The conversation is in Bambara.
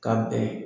Ka bɛn